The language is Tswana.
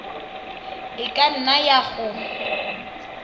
e ka nna ya go